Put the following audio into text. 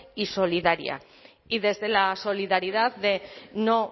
y solidaria y desde la solidaridad de no